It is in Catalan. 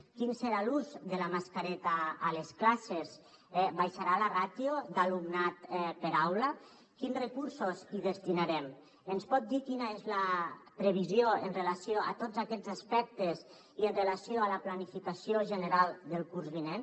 quin serà l’ús de la mascareta a les classes eh baixarà la ràtio d’alumnat per aula quins recursos hi destinarem ens pot dir quina és la previsió amb relació a tots aquests aspectes i amb relació a la planificació general del curs vinent